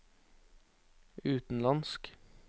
utenlandsk